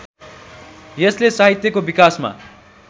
यसले साहित्यको विकासमा